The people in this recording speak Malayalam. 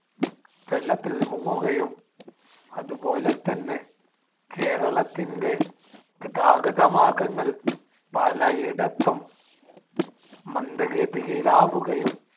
വെള്ളത്തിൽ മുങ്ങുകയും അതുപോലെതന്നെ കേരളത്തിന്‍ടെ ഗതാഗതമാർഗ്ഗങ്ങൾ പലയിടത്തും മന്ദഗതിയിലാകുകയും